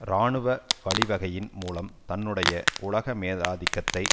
இராணுவ வழிவகையின் மூலம் தன்னுடைய உலக மேலாதிக்கத்தை